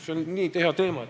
See on nii hea teema.